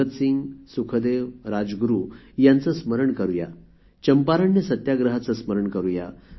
भगतसिंग सुखदेव राजगुरु यांचे स्मरण करु या चंपारण्य सत्याग्रहाचे स्मरण करु या